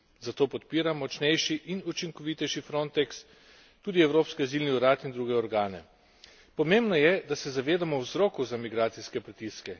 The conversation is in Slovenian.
Zato podpiram močnejši in učinkovitejši Frontex, tudi Evropski azilni urad in druge organe. Pomembno je, da se zavedamo vzrokov za migracijske pritiske.